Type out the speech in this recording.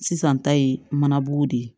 Sisan ta ye mana bugun de ye